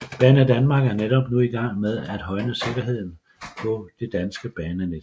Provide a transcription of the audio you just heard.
Banedanmark er netop nu i gang med at højne sikkerheden på det danske banenet